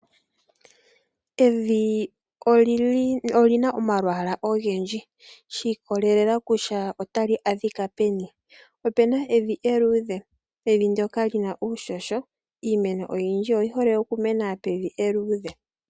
Evi olina omalwaala ogendji shiikolelela kutya otali adhika peni . Opuna evi eluudhe, evi ndjoka hali kala lina uuhoho . Iimeno oyindji oyihole okumena pevi eluudhe.